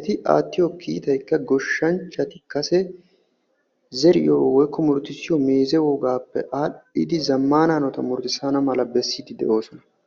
Etti aattiyo kiittay goshanchchatti benippe zamaana hanotan zerana koshiyooga.